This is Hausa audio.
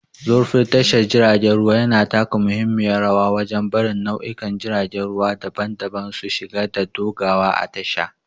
Zurfin tashar jiragen ruwa yana taka muhimmiyar rawa wajen barin nau'ikan jiragen ruwa daban-daban su shiga da dogawa a tasha